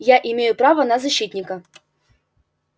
я имею право на защитника